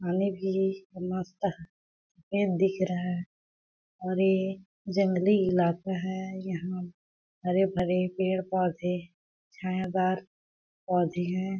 पानी भी मस्त ये दिख रहा है और ये जंगली इलाका है यहाँ हरे-भरे पेड़-पौधे छायादार पौधे हैं।